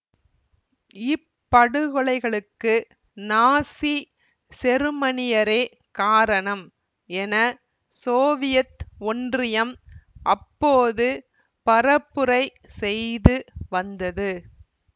இப்படுகொலைகளுக்கு Nazi செருமனியரே காரணம் என சோவியத் ஒன்றியம் அப்போது பரப்புரை செய்து வந்தது